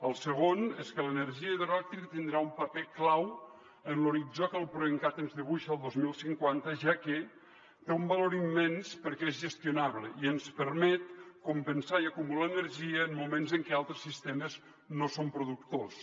el segon és que l’energia hidroelèctrica tindrà un paper clau en l’horitzó que el proencat ens dibuixa el dos mil cinquanta ja que té un valor immens perquè és gestionable i ens permet compensar i acumular energia en moments en què altres sistemes no són productors